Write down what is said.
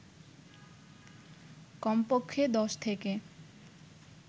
কমপক্ষে ১০ থেকে